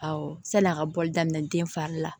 Awɔ san'a ka bɔli daminɛ den fari la